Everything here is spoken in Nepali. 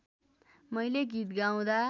मैले गीत गाउँदा